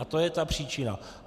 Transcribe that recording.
A to je ta příčina.